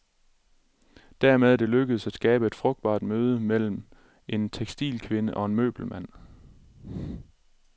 Dermed er det lykkedes at skabe et frugtbart møde mellem en tekstilkvinde og en møbelmand.